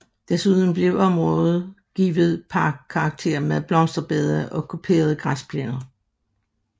Desuden blev området givet parkkarakter med blomsterbede og kuperede græsplæner